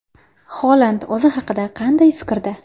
Holand o‘zi haqida qanday fikrda?